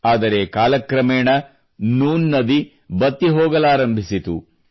ಆದರೆ ಕಾಲಕ್ರಮೇಣ ನೂನ್ ನದಿ ಬತ್ತಿ ಹೋಗಲಾರಂಭಿಸಿತು